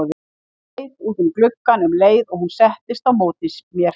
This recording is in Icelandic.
Leit út um gluggann um leið og hún settist á móti mér.